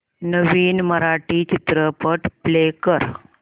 नवीन मराठी चित्रपट प्ले कर